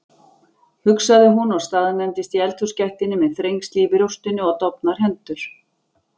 hugsaði hún og staðnæmdist í eldhúsgættinni með þrengsli í brjóstinu og dofnar hendur.